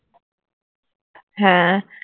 হ্যাঁ